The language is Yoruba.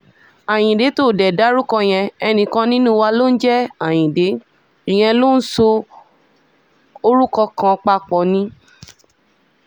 ayíǹde tó dé dárúkọ yẹn ẹnìkan nínú wa ló ń jẹ́ ayíǹde ìyẹn ló ń sọ orúkọ kan papọ̀ ni